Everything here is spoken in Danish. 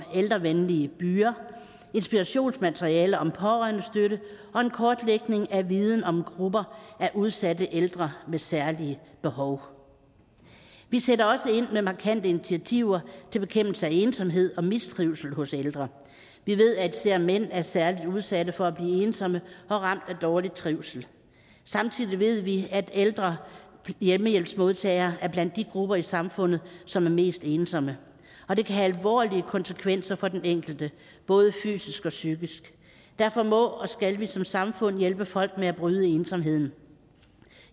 ældrevenlige byer inspirationsmateriale om pårørendestøtte og en kortlægning af viden om grupper af udsatte ældre med særlige behov vi sætter også ind med markante initiativer til bekæmpelse af ensomhed og mistrivsel hos ældre vi ved at især mænd er særlig udsatte for at blive ensomme og ramt af dårlig trivsel samtidig ved vi at ældre hjemmehjælpsmodtagere er blandt de grupper i samfundet som er mest ensomme og det kan have alvorlige konsekvenser for den enkelte både fysisk og psykisk derfor må og skal vi som samfund hjælpe folk med at bryde ensomheden